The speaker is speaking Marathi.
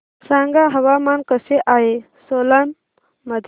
सांगा हवामान कसे आहे सोलान मध्ये